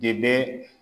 De bɛ